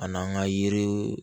A n'an ka yiri